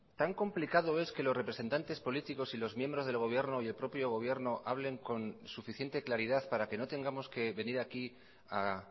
tan complicado es que los representantes políticos y los miembros del gobierno y el propio gobierno hablen con suficiente claridad para que no tengamos que venir aquí a